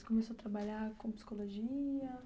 Você começou a trabalhar com psicologia?